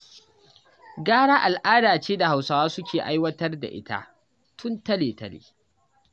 Gara al'ada ce da Hausawa suke aiwatar da ita tun tale-tale.